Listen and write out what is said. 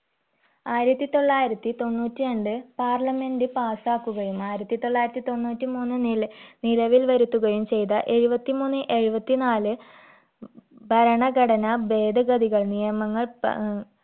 ആയിരത്തി തൊള്ളായിരത്തി തൊണ്ണൂറ്റിരണ്ട്‍ parliament പാസാക്കുകയും ആയിരത്തി തൊള്ളായിരത്തി തൊണ്ണൂറ്റിമൂന്ന് നില നിലവിൽ വരുത്തുകയും ചെയ്ത എഴുപത്തിമൂന്ന്‌ എഴുപതിനാല് ഭരണ ഘടന ഭേദഗതികൾ നിയമങ്ങൾ പ അഹ്